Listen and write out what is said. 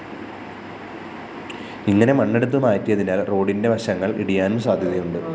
ഇങ്ങനെ മണ്ണെടുത്തു മാറ്റിയതിനാല്‍ റോഡിന്റെ വശങ്ങള്‍ ഇടിയാനും സാധ്യതയുണ്ട്